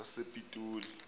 sasepitoli